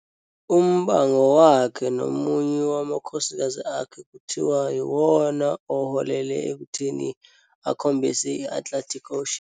Umbango wakhe nomunye wamakhosikazi akhe kuthiwa yiwona oholele ekutheni akhombise i-Atlantic Ocean.